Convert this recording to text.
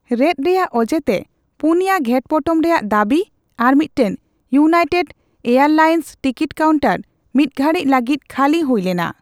ᱨᱮᱫ ᱨᱮᱭᱟᱜ ᱚᱡᱮᱛᱮ, ᱯᱩᱱᱭᱟ ᱜᱷᱮᱴᱯᱚᱴᱚᱢ ᱨᱮᱭᱟᱜ ᱫᱟᱵᱤ ᱟᱨ ᱢᱤᱫᱴᱟᱝ ᱤᱭᱩᱱᱟᱭᱴᱮᱰ ᱮᱭᱟᱨᱞᱟᱭᱥᱮᱱᱥ ᱴᱤᱠᱤᱴ ᱠᱟᱣᱩᱱᱴᱟᱨ ᱢᱤᱫᱜᱷᱟᱲᱤᱡᱽ ᱞᱟᱜᱤᱫ ᱠᱷᱟᱹᱞᱤ ᱦᱩᱭ ᱞᱮᱱᱟ ᱾